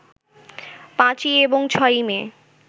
৫ই এবং ৬ই মে